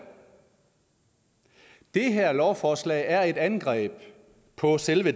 det her lovforslag er et angreb på selve